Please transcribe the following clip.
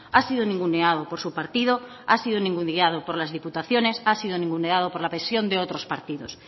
ha sido ninguneado por su partido ha sido ninguneado por las diputaciones ha sido ninguneado por la presión de otros partidos